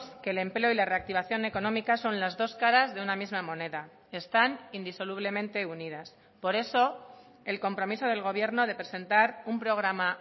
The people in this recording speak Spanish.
que el empleo y la reactivación económica son las dos caras de una misma moneda están indisolublemente unidas por eso el compromiso del gobierno de presentar un programa